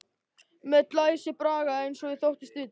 Með glæsibrag eins og ég þóttist vita.